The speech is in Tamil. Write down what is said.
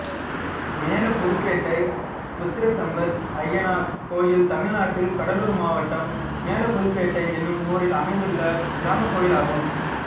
மேலபுதுப்பேட்டை புத்திரசம்பத்ஐயனார் கோயில் தமிழ்நாட்டில் கடலூர் மாவட்டம் மேலபுதுப்பேட்டை என்னும் ஊரில் அமைந்துள்ள கிராமக் கோயிலாகும்